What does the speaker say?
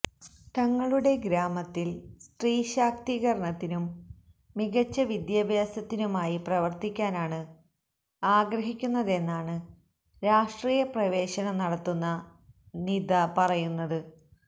തങ്ങളുടെ ഗ്രാമത്തിൽ സ്ത്രീ ശാക്തീകരണത്തിനും മികച്ച വിദ്യാഭ്യാസത്തിനുമായി പ്രവർത്തിക്കാനാണ് ആഗ്രഹിക്കുന്നതെന്നാണ് രാഷ്ട്രീയ പ്രവേശനം നടത്തുന്ന നീത പറയുന്നത്